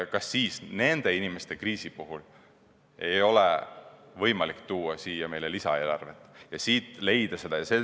Kas siis nende inimeste kriisi puhul ei ole võimalik tuua siia lisaeelarvet ja leida need summad.